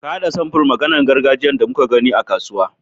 Ka haɗa samfurn maganin gargajiyan da muka gani a kasuwa.